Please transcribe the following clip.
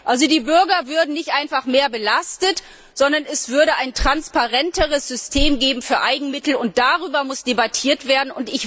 Also die Bürger würden nicht einfach mehr belastet, sondern es würde ein transparenteres System für Eigenmittel geben. Darüber muss debattiert werden.